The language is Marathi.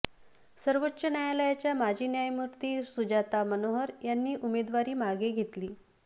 सर्वोच्च न्यायालयाच्या माजी न्यायमूर्ती सुजाता मनोहर यांनी उमेदवारी मागे घेतली